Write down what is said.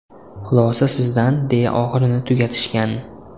Xulosa sizdan deya oxirini tugatishgan.